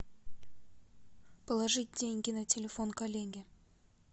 положить деньги на телефон коллеге